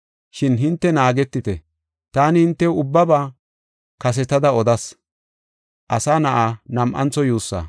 Shin hinte naagetite; taani hintew ubbaba kasetada odas.